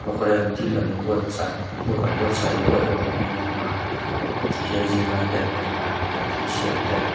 kawren thil an an buatsaih an huaihawt niin a langa tihian zirlai ten e a an thilsiam te.